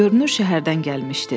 Görünür şəhərdən gəlmişdi.